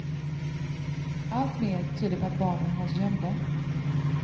Allt mer tyder på att barnen hålls gömda.